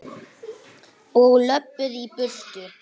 Og löbbuðu í burtu.